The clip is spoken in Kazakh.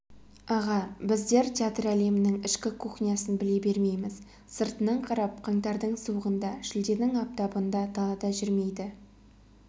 аға біздер театр әлемінің ішкі кухнясын біле бермейміз сыртынан қарап қаңтардың суығында шілденің аптабында далада жүрмейді